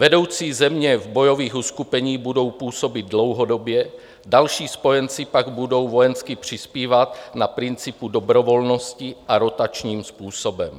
Vedoucí země v bojových uskupeních budou působit dlouhodobě, další spojenci pak budou vojensky přispívat na principu dobrovolnosti a rotačním způsobem.